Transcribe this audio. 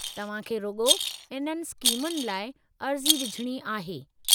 तव्हां खे रुॻो इन्हनि स्कीमुनि लाइ अर्ज़ी विझणी आहे।